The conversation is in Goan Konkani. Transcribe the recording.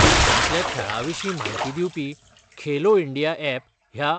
देशांतल्या खेळा विशीं माहिती दिवपी खेलो इंडिया एप ह्या